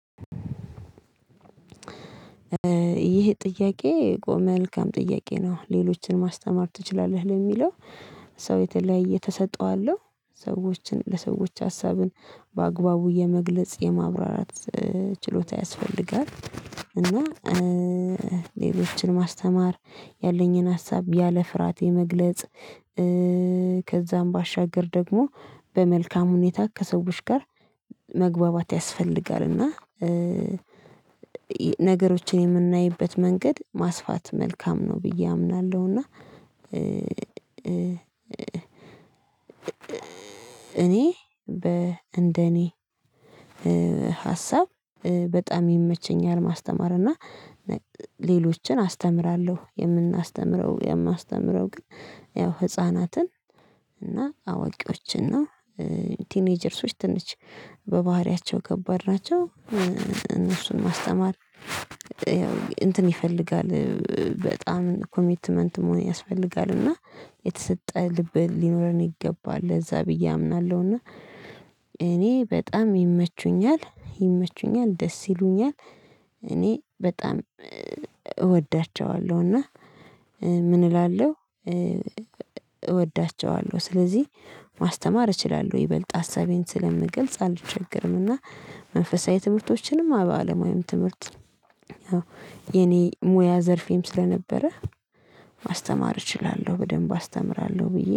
ይህ ጥያቄ መልካም ጥያቄ ነው? ሌሎችን ማስተማር ትችላለህ ለሚለው ሰው የተለያየ ተሰጥኦ አለው ሰዎችን ለሰዎች ሀሳብን በአግባቡ የመግለጽ የማብራራት ችሎታ ያስፈልጋል። እና ሌሎችን ማስተማር ያለኝን ሀሳብ ያለ ፍርሃት የመግለጽ ከዛም ባሻገር ደግሞ በመልካም ሁኔታ ከሰዎች ጋር መግባባት ያስፈልጋል እና ነገሮችን የምናይበት መንገድ ማስፋት መልካም ነው ብዬ አምናለሁ። እና እኔ በ እንደኔ ሀሳብ በጣም ይመቸኛል ማስተማር እና ሌሎችን አስተምራለሁ። የምናስተምረው የማስተምረው ግን ያው ህፃናትን እና አዋቂዎችን ነው። ቲኔጀርሶች ትንሽ በባህሪያቸው ከባድ ናቸው እነሱን ማስተማር ያው እንትን ይፈልጋል በጣም ኮሚትመንት መሆን ያስፈልጋል። እና የተሰጠ ልብ ሊኖረን ይገባል ለዛ ብዬ አምናለሁ። እና እኔ በጣም ይመቹኛል ይመቹኛል ደስ ይሉኛል እኔ በጣም እወዳቸዋለሁ እና ምን እላለሁ እወዳቸዋለሁ። ስለዚህ ማስተማር እችላለሁ ይበልጥ ሀሳቤን ስለምገልጽ አልቸገርም። እና መንፈሳዊ ትምህርቶችንም አበ አለማዊ ወይም ትምህርት ያው የኔ ሙያ ዘርፌም ስለነበረ ማስተማር እችላለሁ በደንብ አስተምራለሁ። ብዬ